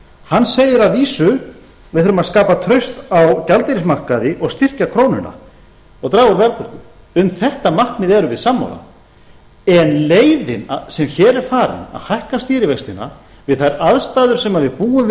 hann segir að vísu við þurfum að skapa traust á gjaldeyrismarkaði og styrkja krónuna og draga úr verðbólgu um þetta markmið erum við sammála en leiðin sem hér er farin að hækka stýrivextina við þær aðstæður sem við búum